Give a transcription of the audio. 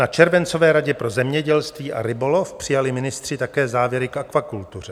Na červencové Radě pro zemědělství a rybolov přijali ministři také závěry k akvakultuře.